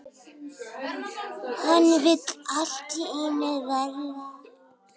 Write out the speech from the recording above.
Hann vill allt í einu verða